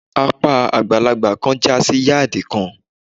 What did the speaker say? Apá àgbàlagbà kan jásí yádìì kan.